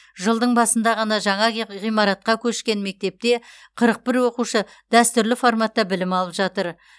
жылдың басында ғана жаңа ғи ғимаратқа көшкен мектепте қырық бір оқушы дәстүрлі форматта білім алып жатыр